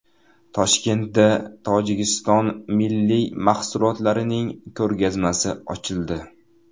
Toshkentda Tojikiston milliy mahsulotlarining ko‘rgazmasi ochildi .